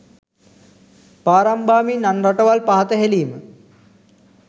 පාරම් බාමින් අන් රටවල් පහත හෙලීම